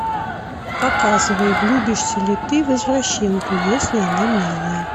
показывай влюбишься ли ты в извращенку если она милая